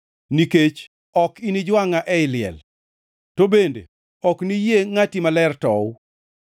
nikech ok inijwangʼa ei liel, to bende ok niyie Ngʼati Maler tow.